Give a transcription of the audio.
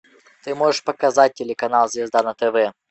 ты можешь показать телеканал звезда на тв